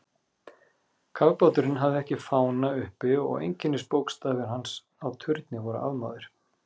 Kafbáturinn hafði ekki fána uppi og einkennisbókstafir hans á turni voru afmáðir.